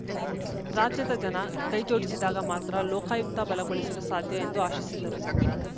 ರಾಜ್ಯದ ಜನ ಕೈಜೋಡಿಸಿದಾಗ ಮಾತ್ರ ಲೋಕಾಯುಕ್ತ ಬಲಗೊಳಿಸಲು ಸಾಧ್ಯ ಎಂದು ಆಶಿಸಿದರು